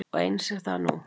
Og eins er það nú.